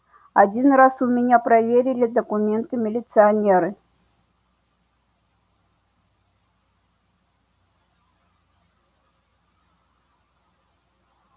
один раз у меня проверили документы милиционеры